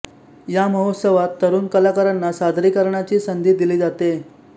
या महोत्सवात तरुण कलाकारांना सादरीकरणाची संधी दिली जाते